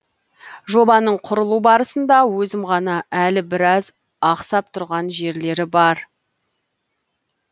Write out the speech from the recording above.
жобаның құрылу барысында өзім ғана әлі біраз ақсап тұрған жерлері бар